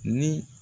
Ni